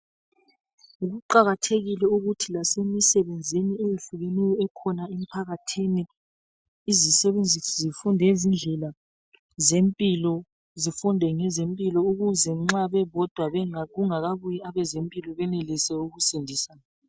Kuqakathekile ukuthi lasemisebenzini eyehlukeneyo ekhona emphakathini, izisebenzi zifunde izindlela zempilo. Zifunde ngezempilo ukuze nxa bebodwa bengakafiki abezempilo bekhone ukusindisana.